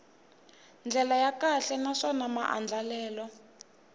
ndlela ya kahle naswona maandlalelo